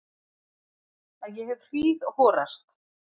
Að ég hef hríðhorast.